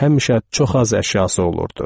Həmişə çox az əşyası olurdu.